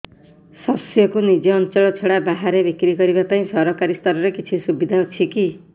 ଶସ୍ୟକୁ ନିଜ ଅଞ୍ଚଳ ଛଡା ବାହାରେ ବିକ୍ରି କରିବା ପାଇଁ ସରକାରୀ ସ୍ତରରେ କିଛି ସୁବିଧା ଅଛି କି